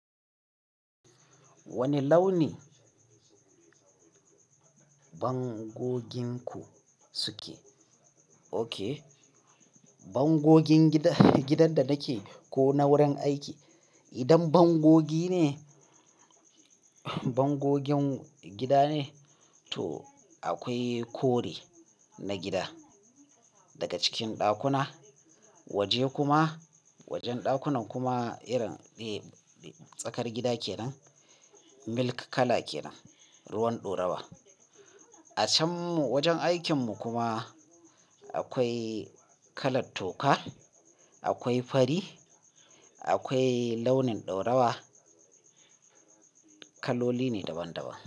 Wane launi bangoginku suke? Oke, bangogin gidan da nake ko na wurin aiki. Idan bangogi ne, bangogin gida ne, to akwai kore na gida daga cikin ɗakuna. Waje kuma, wajen ɗakunan kuma irin tsakar gida ke nan, milk kala ke nan, ruwan ɗaurawa. A can wajen aikinmu kuma akwai kalar toka, akwai fari, akwai launin ɗaurawa. Kaloli ne daban-daban.